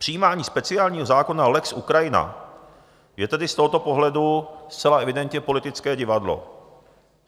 Přijímání speciálního zákona lex Ukrajina je tedy z tohoto pohledu zcela evidentně politické divadlo.